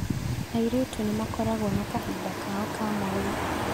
Airĩtu nĩmakoragwo na kahinda kao ka mweri